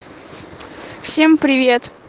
всем привет